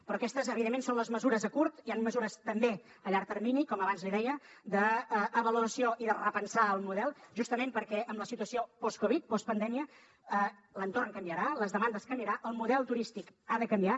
però aquestes evidentment són les mesures a curt hi ha mesures també a llarg termini com abans li deia d’avaluació i de repensar el model justament perquè en la situació post covid postpandèmia l’entorn canviarà les demandes canviaran el model turístic ha de canviar